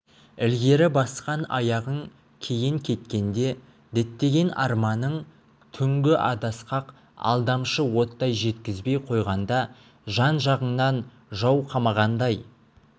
ілгері басқан аяғың кейін кеткенде діттеген арманың түңгі адасқақ алдамшы оттай жеткізбей қойғанда жан-жағыңнан жау қамағандай